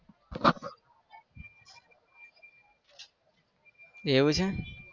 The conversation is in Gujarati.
એવું છે